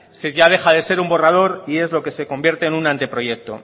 ya deja de ser un borrado y es lo que se convierte en un anteproyecto